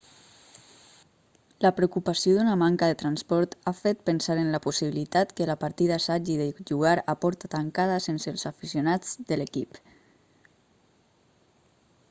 la preocupació d'una manca de transport ha fet pensar en la possibilitat que la partida s'hagi de jugar a porta tancada sense els aficionats de l'equip